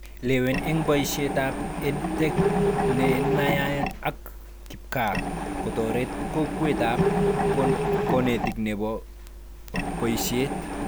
Lewen eng boishetab EdTech nenayai ak kipkaa kotoret kokwetab konetik nebo boishet